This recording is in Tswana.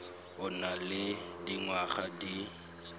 o nang le dingwaga di